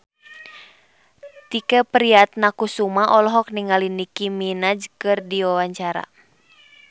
Tike Priatnakusuma olohok ningali Nicky Minaj keur diwawancara